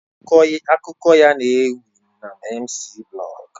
Akuko ya n'ewi na mciiblog